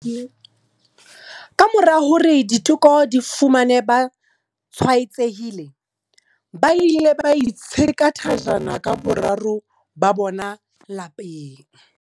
Kamora hore diteko di ba fumane ba tshwaetsehile, ba ile ba itsheka thajana ka boraro ba bona lapeng.